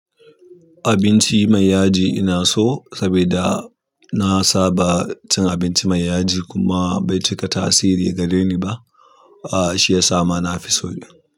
Abinci mai yaji ina so saboda nasa ba cin abinci mai yaji kuma bai cika tasiri gareni ba ah shiyasa ma nafison ɗin.